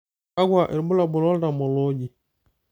kakua irbulabol lo ltamolooji?